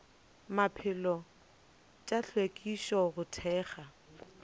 maphelo tša hlwekišo go thekga